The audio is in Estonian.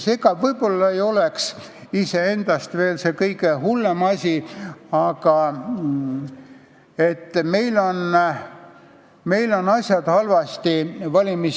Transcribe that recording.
See ei oleks võib-olla iseendast veel see kõige hullem asi, aga meil on valimisseaduses asjad halvasti.